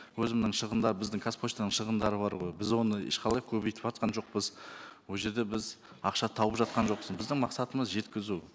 өзімнің шығындар біздің қазпоштаның шығындары бар ғой біз оны ешқалай көбейтіватқан жоқпыз ол жерде біз ақша тауып жатқан жоқпыз біздің мақсатымыз жеткізу